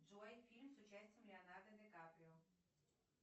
джой фильм с участием леонардо ди каприо